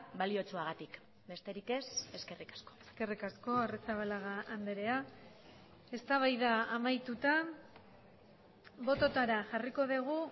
baliotsuagatik besterik ez eskerrik asko eskerrik asko arrizabalaga andrea eztabaida amaituta bototara jarriko dugu